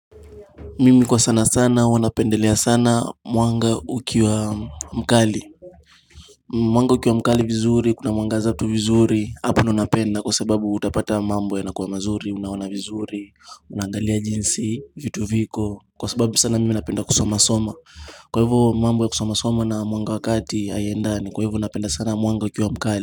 Mimi kwa sana sana huwa napendelea sana mwanga ukiwa mkali Mwanga ukiwa mkali vizuri kuna mwangaza tu vizuri hapa ndio napenda kwa sababu utapata mambo ya nakuwa mazuri unaona vizuri unnangalia jinsi vitu viko Kwa sababu sana mimi napenda kusomasoma Kwa hivyo mambo ya kusomasoma na mwanga wa kati haiendani kwa hivyo napenda sana mwanga ukiwa mkali.